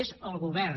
és el govern